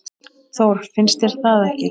Þór, finnst þér það ekki?